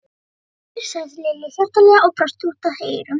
Hann heilsaði Lillu hjartanlega og brosti út að eyrum.